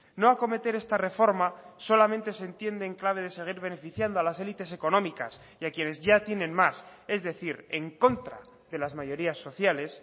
no acometer esta reforma solamente se entiende en clave de seguir beneficiando a las élites económicas y a quienes ya tienen más es decir en contra de las mayorías sociales